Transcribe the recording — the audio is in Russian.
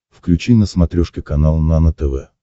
включи на смотрешке канал нано тв